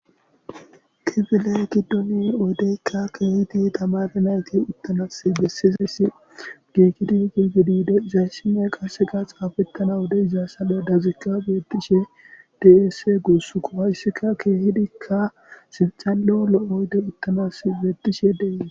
kifile giddoni oydeykka keehidi tamaranati uttamas bessizayssi giikidi giigidide izayssime qase ga xaafettana wode izassale dazikka beettishe desse guuss kowayssika keehidikka sibxalo lo7oyde uttamas beettishe dee